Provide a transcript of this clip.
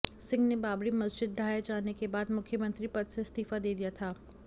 सिंह ने बाबरी मस्जिद ढहाये जाने के बाद मुख्यमंत्री पद से इस्तीफा दे दिया था